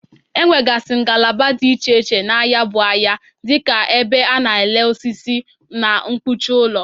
Enwegasị ngalaba dị iche iche na ya bụ ahịa dị ka ebe a na-ere osisi, na mkpuchi ụlọ.